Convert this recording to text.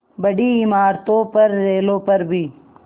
बड़ी इमारतों पर रेलों पर भी